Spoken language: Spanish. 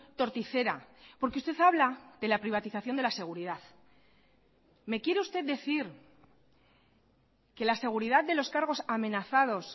torticera porque usted habla de la privatización de la seguridad me quiere usted decir que la seguridad de los cargos amenazados